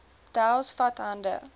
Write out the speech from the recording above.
dowes vat hande